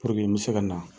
Puruke n bɛ se ka na